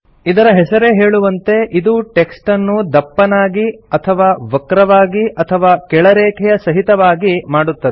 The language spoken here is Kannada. ಇದರ ಹೆಸರೇ ಹೇಳುವಂತೆ ಇದು ಟೆಕ್ಸ್ಟನ್ನು ದಪ್ಪನಾಗಿ ಅಥವಾ ವಕ್ರವಾಗಿ ಅಥವಾ ಕೆಳರೇಖೆಯ ಸಹಿತವಾಗಿ ಮಾಡುತ್ತದೆ